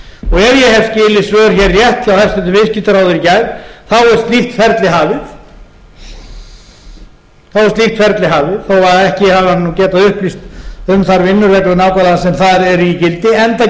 hef skilið svör hér rétt hjá hæstvirtur viðskiptaráðherra í gær er slíkt ferli hafið þó að ekki hafi hann getað upplýst um þær vinnureglur nákvæmlega sem þar eru í gildi enda geri ég